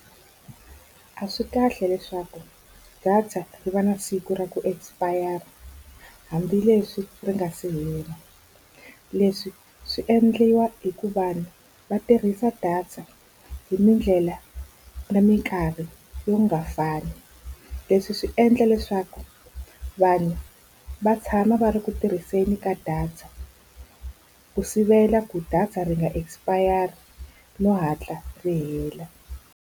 A swi kahle leswaku data yi va na siku ra ku expire-ra hambileswi ri nga se hela. Leswi swi endliwa hikuva vanhu va tirhisa data hi tindlela na minkarhi yo ka yi nga fani. Leswi swi endla leswaku vanhu va tshama va ri ku tirhiseni ka data ku sivela ku data ri nga expire-ri no hatla ri hela.